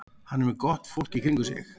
Hann er með gott fólk í kringum sig.